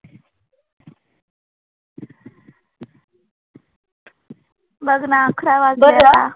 बघ ना अकरा वाजले आता.